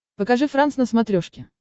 покажи франс на смотрешке